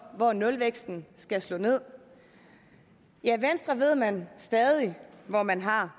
hvor nulvæksten skal slå ned ja venstre ved man stadig hvor man har